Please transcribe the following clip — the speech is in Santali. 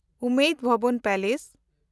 ᱩᱢᱮᱫ ᱵᱷᱚᱵᱚᱱ ᱯᱮᱞᱮᱥ